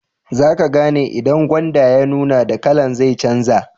Zaka gane idan gwanda ya nuna, dan kala'n zai canja.